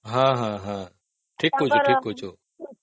ହଁ ହଁ ହଁ ଠିକ କହୁଚ